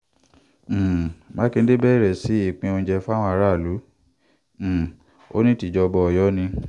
um mákindé bẹ̀rẹ̀ sí í pín oúnjẹ fáwọn aráàlú um ó ní tìjọba ọ̀yọ́ ni